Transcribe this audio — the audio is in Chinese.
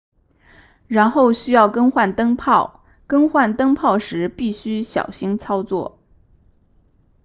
然后需要更换灯泡更换灯泡时必须小心操作